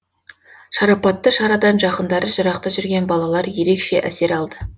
шарапатты шарадан жақындары жырақта жүрген балалар ерекше әсер алды